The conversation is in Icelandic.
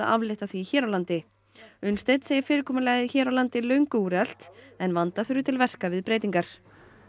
aflétta því hér á landi Unnsteinn segir fyrirkomulagið hér á landi löngu úrelt en vanda þurfi til verka við breytingar